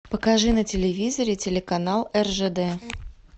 покажи на телевизоре телеканал ржд